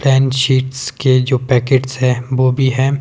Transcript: tan sheets के जो packets है वो भी है--